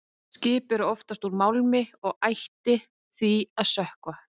Skip eru oftast úr málmi og ættu því að sökkva.